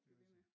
Blive ved med